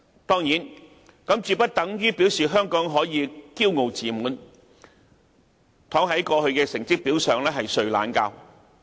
當然，這絕不等於表示香港可以驕傲自滿，躺在過去的成績表上睡懶覺。